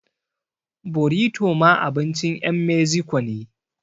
Borito ma abincin ƴan meziko ne